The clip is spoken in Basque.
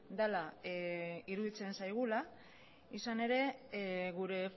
dela iruditzen zaigula izan ere gure